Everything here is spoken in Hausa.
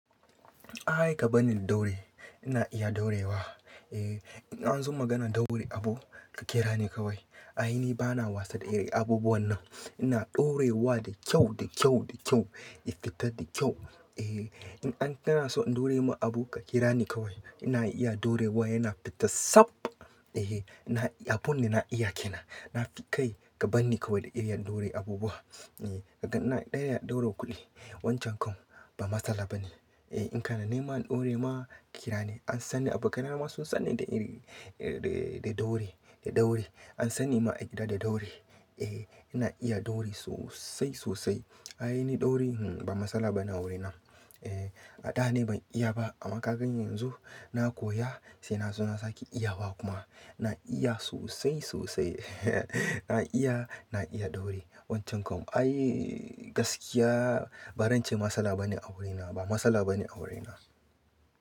Aika bani ɗaure, ina iya ɗorewa. Eh, in anzo maganar ɗaure abu ka kirani kawai. Aini bana wasa da irin abubuwan nan. Ina ɗorewa da kyau, da kyau, da kyau, ya fita da kyau. Eh, in an kanaso in ɗorema abu ka kirani kawai. Ina iya ɗorewa yana fita tsab. Eh, ina, abunda na iya kenan. Nafi kai ka banni kawai da irin ɗore abubuwa. Eh, kaga na ɗaya ɗaura kuɗi. Wancan kam ba matsala bane. Eh, in kana nema in ɗore ma kirani. An sani abokanai na ma sun sani da iri, da ɗauri, da ɗauri. An sani ma a gida da ɗauri. Eh, ina iya ɗauri sosai, sosai. Aini ɗauri hmm ba matsala bane a wurina. Eh, adane ban iya ba amma kaganni yanzu na koya sai nazo na sake iyawa kuma na iya sosai, sosai. Na iya, na iya ɗauri wancan kam. Ai gaskiya ba rance matsala bane a wurina, ba matsala bane a wurina.